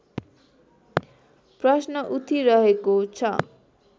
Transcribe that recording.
प्रश्न उठिरहेको छ